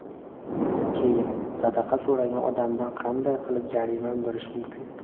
Keyin, sadaqa so‘ragan odamdan qanday qilib jarima undirish mumkin?